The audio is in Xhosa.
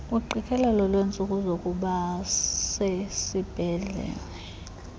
kuqikelelo lweentsuku zokubasesibhedlele